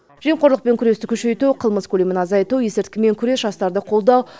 жемқорлықпен күресті күшейту қылмыс көлемін азайту есірткімен күрес жастарды қолдау